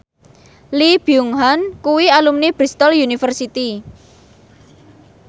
Lee Byung Hun kuwi alumni Bristol university